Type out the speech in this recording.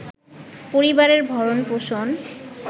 পরিবারের ভরণ-পোষণ